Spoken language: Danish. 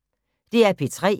DR P3